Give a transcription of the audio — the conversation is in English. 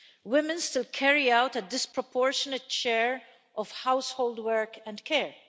Women still carry out a disproportionate share of household work and care.